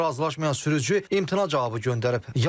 Bununla razılaşmayan sürücü imtina cavabı göndərib.